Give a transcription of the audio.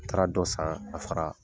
A taara dɔ san ka fara